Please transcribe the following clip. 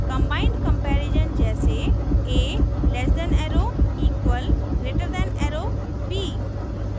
<=> combined comparison जैसे a less than arrow equal greater than arrow b